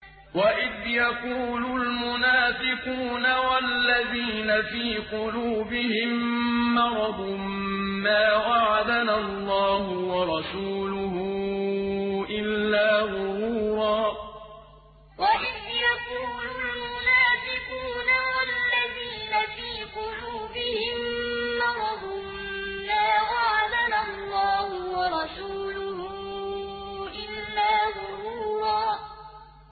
وَإِذْ يَقُولُ الْمُنَافِقُونَ وَالَّذِينَ فِي قُلُوبِهِم مَّرَضٌ مَّا وَعَدَنَا اللَّهُ وَرَسُولُهُ إِلَّا غُرُورًا وَإِذْ يَقُولُ الْمُنَافِقُونَ وَالَّذِينَ فِي قُلُوبِهِم مَّرَضٌ مَّا وَعَدَنَا اللَّهُ وَرَسُولُهُ إِلَّا غُرُورًا